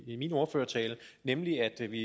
i min ordførertale nemlig at vi